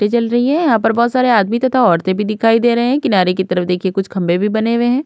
टे जल रही है यहां पर बहुत सारे आदमी तथा औरतें भी दिखाई दे रही है किनारे की तरफ देखिए कुछ खंभे भी बने हुए हैं।